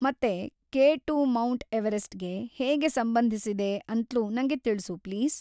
ಮತ್ತೆ K two mount ಎವರೆಸ್ಟಗೆ ಹೇಗೆ ಸಂಬಂಧಿಸಿದೆ ಅಂತ್ಲೂ ನಂಗೆ ತಿಳ್ಸು, ಪ್ಲೀಸ್.